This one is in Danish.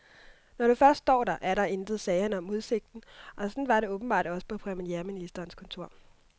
Når du først står der, er der intet, sagde han om udsigten, og sådan var det åbenbart også på premierministerens kontor.